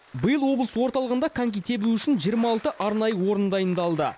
биыл облыс орталығында коньки тебу үшін жиырма алты арнайы орын дайындалды